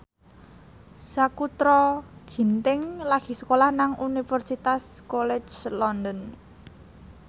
Sakutra Ginting lagi sekolah nang Universitas College London